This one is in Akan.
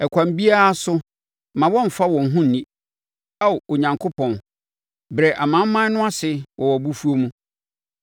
Ɛkwan biara so, mma wɔmfa wɔn ho nni; Ao Onyankopɔn, brɛ amanaman no ase wɔ wʼabufuo mu.